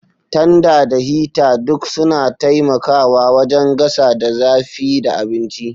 Tanda da hita duk suna taimakawa wajen gasa da zafi da abinci.